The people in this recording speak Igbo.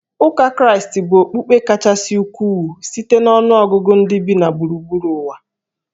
Ụka Kraịst bụ okpukpe kachasị ukwuu site na ọnụ ọgụgụ ndị bi na gburugburu ụwa